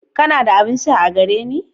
Kana da abin sha a gare ni?